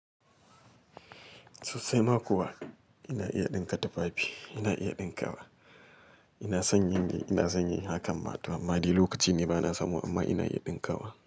Sosai ma kuwa ina iya ɗinka tufafi, ina iya ɗinkawa. Ina son yin de ina son yin hakan ma tor amma de lokaci ne bana samu amma ina iya dinkawa.